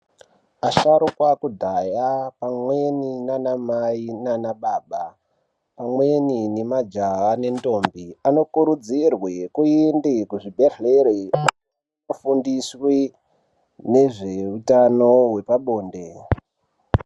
Asharukwa ekudhaya amweni nanamayi nanababa amweni nemajaha nendombi anokuridzirwe kuende kuzvibhedhlere ofundiswe nezveutano wepabonde.